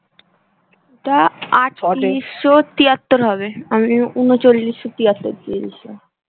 ওটা আটতিরিশো তিয়াত্তর হবে আমি উনচল্লিশো তিয়াত্তর দিয়ে দিছিলাম